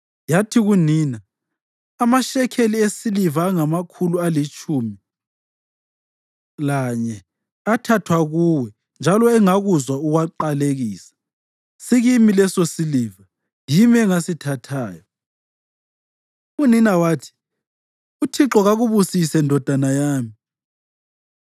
yathi kunina, “Amashekeli esiliva angamakhulu alitshumi lanye athathwa kuwe njalo engakuzwa uwaqalekisa, sikimi lesosiliva; yimi engasithathayo. ” Unina wathi, “ UThixo kakubusise, ndodana yami!”